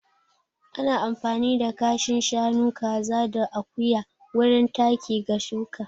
Ana amfani da kashin shanu, kaza da akuya wurin taki ga shuƙa.